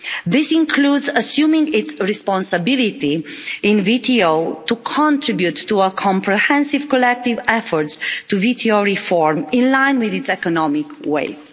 This includes assuming its responsibility in the WTO to contribute to a comprehensive collective effort to WTO reform, in line with its economic weight.